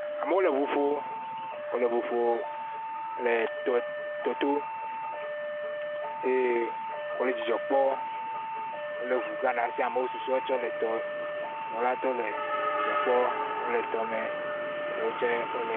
Amewo le ʋuƒom, wole ʋuƒo le tɔto eye wole dzidzɔ Kpɔ, wole ʋugã ɖe asi amewo susue tsɛ le tɔ la to le dzidzɔ kpɔ wole tɔme eɖe wo tsɛ wole.